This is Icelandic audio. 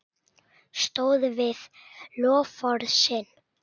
Stóð við loforð sín.